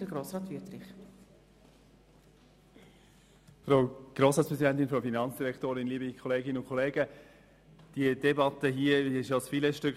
Diese Debatte hier ist, wie bereits erwähnt, das Filetstück.